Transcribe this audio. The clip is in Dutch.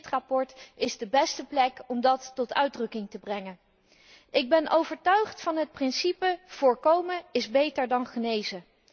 Dit verslag is de beste plek om dat tot uitdrukking te brengen. Ik ben overtuigd van het principe voorkomen is beter dan genezen.